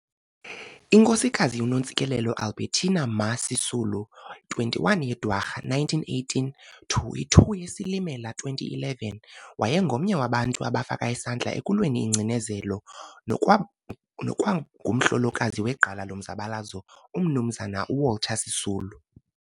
iNkosikazi uNontsikelelo Albertina "Ma" Sisulu, 21 yeDwarha 1918 to i-2 yeSilimela 2011, wayengomnye wabantu abafaka isandla ekulweni ingcinezelo, nokwa nokwangumhlolokazi wegqala lomzabalazo uMnumzana uWalter Sisulu.